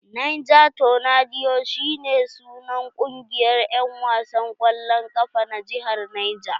Niger tornadoea shi ne sunan kungiyar en wasan kwallon kafa na jihar Niger.